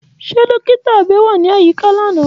Ṣe dọkita abẹ ni ayika lana?